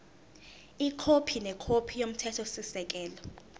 ikhophi nekhophi yomthethosisekelo